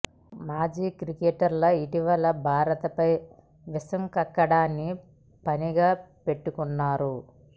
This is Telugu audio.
పాక్ మాజీ క్రికెటర్లు ఇటీవల భారత్పై విషం కక్కడాన్ని పనిగా పెట్టుకున్నారు